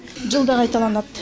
жылда қайталанады